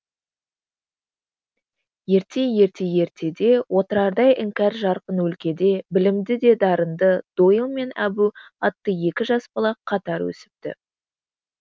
ерте ерте ертеде отырардай іңкәр жарқын өлкеде білімді де дарынды дойыл мен әбу атты екі жас бала қатар өсіпті